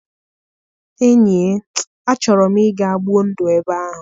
Enyie, achọrọ m ịga gbuo ndụ ebe ahụ.